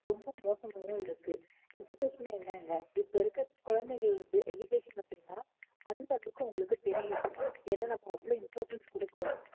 ரொம்ப மோசமா இருக்கு education னா என்னங்க இப்போ இருக்குற குழந்தைகள் இருந்து education அப்படின்னா உங்களுக்கு தெரியும் ஏன்னா நம்ம அவ்வளோ importance கொடுக்கிறோம்